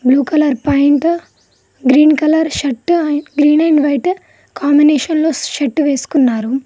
Blue colour point green colour shirt and green and white combination లో shirt వేసుకున్నారు.